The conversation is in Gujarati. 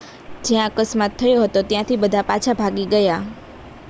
જ્યાં અકસ્માત થયો હતો ત્યાંથી બધાં પાછા ભાગી ગયાં